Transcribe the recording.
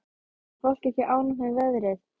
Er fólk ekki ánægt með veðrið?